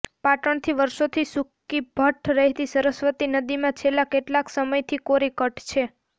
પાટણની વર્ષોથી સૂકીભઠ્ઠ રહેતી સરસ્વતી નદીમાં છેલ્લા કેટલાય સમયથી કોરીકટ છે